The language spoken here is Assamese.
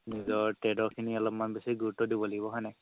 নিজৰ খিনি অলপমান বেচি গুৰুত্ব দিব লাগিব হয় নে নাই